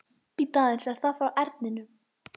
Bíddu aðeins, er það frá Erninum?